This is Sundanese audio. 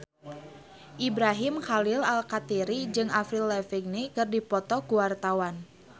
Ibrahim Khalil Alkatiri jeung Avril Lavigne keur dipoto ku wartawan